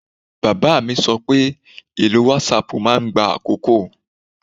Bàbá mi sọ pé ìlò whatsapp máa ń gba àkókò